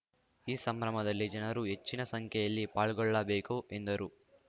ಈ ಸಂಭ್ರಮದಲ್ಲಿ ಜನರೂ ಹೆಚ್ಚಿನ ಸಂಖ್ಯೆಯಲ್ಲಿ ಪಾಲ್ಗೊಳ್ಳಬೇಕು ಎಂದರು